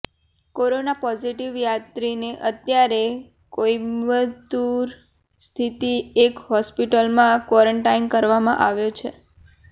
corona positive યાત્રીને અત્યારે કોઈમ્બતુર સ્થિત એક હોસ્પિટલમાં ક્વોરન્ટાઈન કરવામાં આવ્યો છે